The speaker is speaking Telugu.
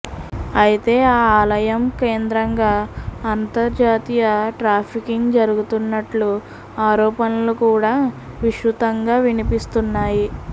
అయితే ఆ ఆలయం కేంద్రంగా అంతర్జాతీయ ట్రాఫింగ్ జరుగుతున్నట్లు ఆరోపణలు కూడా విస్తృతంగా వినిపిస్తున్నాయి